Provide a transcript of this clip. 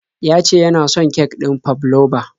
Ya ce ya na son kek ɗin fabloba.